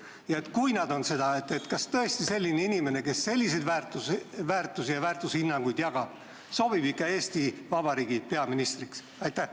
Ja kui need on seda, kas tõesti selline inimene, kes selliseid väärtushinnanguid jagab, sobib ikka Eesti Vabariigi peaministriks?